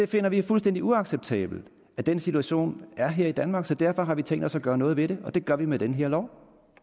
finder det fuldstændig uacceptabelt at den situation er her i danmark så derfor har vi tænkt os at gøre noget ved det og det gør vi med den her lov